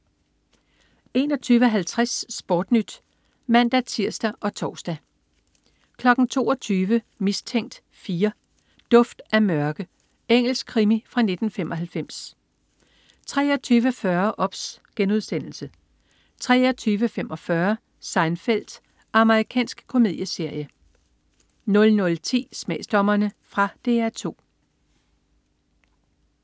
21.50 SportNyt (man-tirs og tors) 22.00 Mistænkt 4: Duft af mørke. Engelsk krimi fra 1995 23.40 OBS* 23.45 Seinfeld. Amerikansk komedieserie 00.10 Smagsdommerne. Fra DR 2